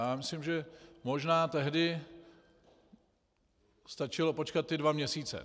Já myslím, že možná tehdy stačilo počkat ty dva měsíce.